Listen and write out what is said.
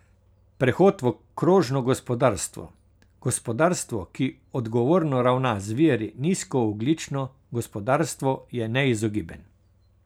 Prehod v krožno gospodarstvo, gospodarstvo, ki odgovorno ravna z viri, nizkoogljično gospodarstvo je neizogiben.